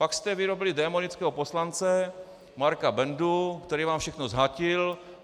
Pak jste vyrobili démonického poslance Marka Bendu, který vám všechno zhatil.